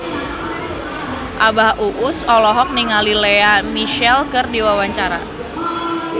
Abah Us Us olohok ningali Lea Michele keur diwawancara